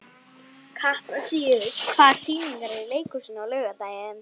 Kaprasíus, hvaða sýningar eru í leikhúsinu á laugardaginn?